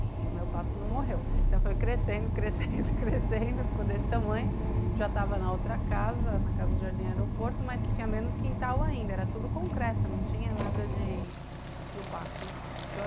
E o meu pato não morreu, então foi crescendo, crescendo, crescendo, ficou desse tamanho, já estava na outra casa, na casa do Jardim Aeroporto, mas que tinha menos quintal ainda, era tudo concreto, não tinha nada para o pato, né?